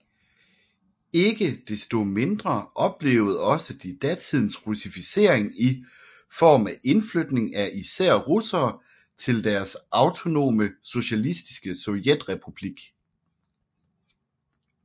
Ikke desto mindre oplevede også de datidens russificering i form af indflytning af især russere til deres autonome socialistiske sovjetrepublik